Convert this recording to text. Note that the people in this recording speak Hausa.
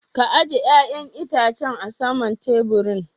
Ka ajie yayan Itacen a sama'n taburin.